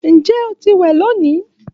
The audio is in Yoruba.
Njẹ o ti wẹ loni?